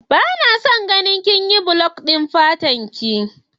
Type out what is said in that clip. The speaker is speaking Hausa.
Bana son ganin kinyi bleach dinki fatarki.